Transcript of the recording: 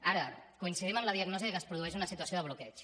ara coincidim amb la diagnosi que es produeix una situació de bloqueig